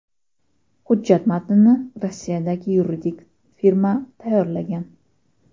Hujjat matnini Rossiyadagi yuridik firma tayyorlagan.